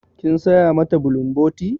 Kin saya mata bulumboti?